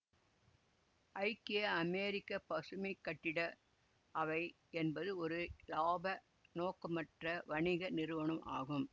ஐக்கிய அமெரிக்க பசுமை கட்டிட அவை என்பது ஒரு இலாப நோக்கமற்ற வணிக நிறுவனம் ஆகும்